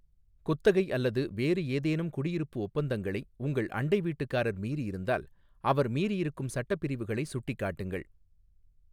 குத்தகை அல்லது வேறு ஏதேனும் குடியிருப்பு ஒப்பந்தங்களை உங்கள் அண்டை வீட்டுக்காரர் மீறியிருந்தால், அவர் மீறியிருக்கும் சட்டப் பிரிவுகளை சுட்டிக்காட்டுங்கள்.